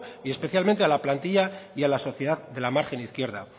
y especialmente a la plantilla y a la sociedad de la margen izquierda